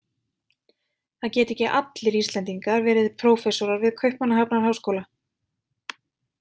Það geta ekki allir Íslendingar verið prófessorar við Kaupmannahafnarháskóla.